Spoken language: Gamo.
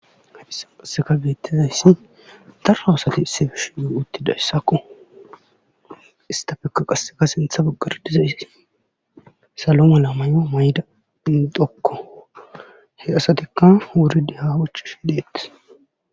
haysi qasseka geettizayssi darra asati isse fish yu uttida essakko istafekka qasseka sintha boggardizaysi saloma la may7o mayda phinxokko he asatikka wuridi hahoch shi dheetes